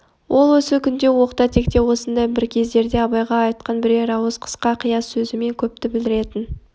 ол осы күнде оқта-текте осындай бір кездерде абайға айтқан бірер ауыз қысқа-қияс сөзімен көпті білдіретін